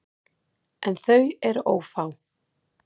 En þau eru ófá.